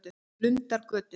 Lundargötu